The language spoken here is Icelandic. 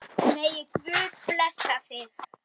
Megi Guð blessa þig.